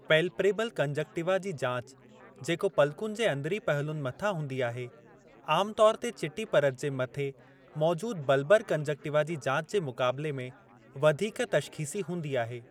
Palpebral conjunctiva जी जाच, जेको पलकुनि जे अंदरीं पहलुनि मथां हूंदी आहे, आमतौर ते चिटी परत जे मथे मौजूद बलबर कंजंक्टिवा जी जाच जे मुक़ाबले में वधीक तश्ख़ीसी हूंदी आहे।